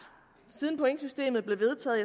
siden pointsystemet blev vedtaget